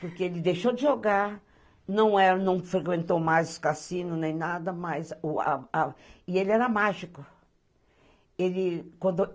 Porque ele deixou de jogar, não frequentou mais os cassinos nem nada, e ele era mágico.